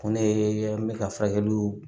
Ko ne bɛ ka furakɛliw